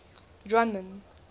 drunman